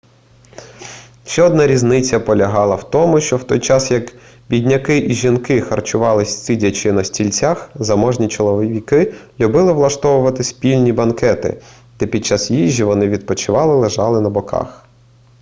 ще одна різниця полягала в тому що в той час як бідняки і жінки харчувались сидячи на стільцях заможні чоловіки любили влаштовувати спільні банкети де під час їжі вони відпочивали лежачи на боках